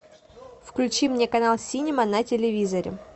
включи мне канал синема на телевизоре